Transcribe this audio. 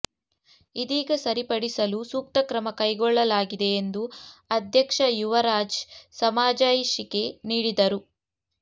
ಇದೀಗ ಸರಿಪಡಿಸಲು ಸೂಕ್ತ ಕ್ರಮ ಕೈಗೊಳ್ಳಲಾಗಿದೆ ಎಂದು ಅಧ್ಯಕ್ಷ ಯುವರಾಜ್ ಸಮಜಾಯಿಷಿಕೆ ನೀಡಿದರು